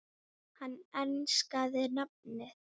Hann enskaði nafnið